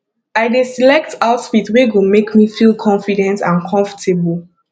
i dey select outfit wey go make me feel confident and comfortable